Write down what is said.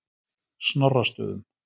Snorrastöðum